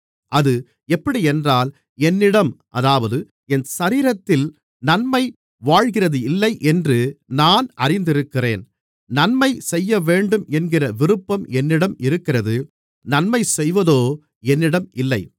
அது எப்படியென்றால் என்னிடம் அதாவது என் சரீரத்தில் நன்மை வாழ்கிறதில்லையென்று நான் அறிந்திருக்கிறேன் நன்மை செய்யவேண்டும் என்கிற விருப்பம் என்னிடம் இருக்கிறது நன்மை செய்வதோ என்னிடம் இல்லை